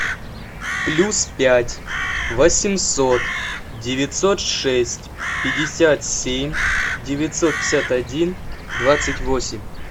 плюс пять восемьсот девятьсот шесть пятьдесят семь девятьсот пятьдесят один двадцать восемь